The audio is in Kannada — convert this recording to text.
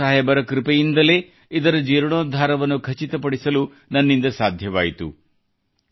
ಗುರು ಸಾಹೇಬರ ಕೃಪೆಯಿಂದಲೇ ಇದರ ಜೀರ್ಣೋದ್ಧಾರವನ್ನು ಖಚಿತಪಡಿಸಲು ನನ್ನಿಂದ ಸಾಧ್ಯವಾಯಿತು